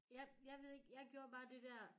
Jeg ved ikke jeg gjorde bare det dér